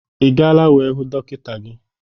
Ị gaala wee hụ dọkịta ahụ?